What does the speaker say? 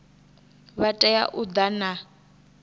vha tea u ḓa na